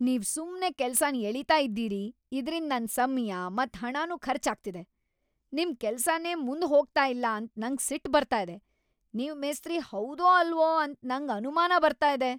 ನೀವ್ ಸುಮ್ನೆ ಕೆಲ್ಸನ್ ಎಳೀತಾ ಇದ್ದೀರಿ ಇದ್ರಿಂದ್ ನನ್ ಸಮ್ಯ ಮತ್ ಹಣನು ಖರ್ಚು ಆಗ್ತಿದೆ; ನಿಮ್ ಕೆಲ್ಸನೇ ಮುಂದ್ ಹೋಗ್ತಾ ಇಲ್ಲ ಅಂತ ನಂಗ್ ಸಿಟ್ ಬರ್ತಾ ಇದೆ. ನೀವು ಮೇಸ್ತ್ರಿ ಹೌದೋ ಅಲ್ವೋ ಅಂತ ನಂಗ್ ಅನುಮಾನ ಬರ್ತಾ ಇದೆ.